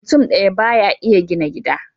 Mutum ɗaya ba ya iya gina gida.